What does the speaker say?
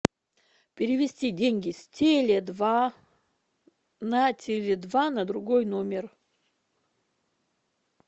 перевести деньги с теле два на теле два на другой номер